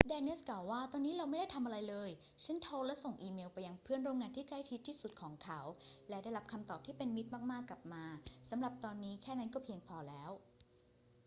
แดเนียสกล่าวว่า ตอนนี้เราไม่ได้ทำอะไรเลย ฉันโทรและส่งอีเมลไปยังเพื่อนร่วมงานที่ใกล้ชิดที่สุดของเขา และได้รับคำตอบที่เป็นมิตรมาก ๆ กลับมา สำหรับตอนนี้ แค่นั้นก็เพียงพอแล้ว